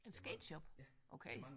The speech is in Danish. En sketch up okay